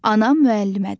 Ana müəllimədir.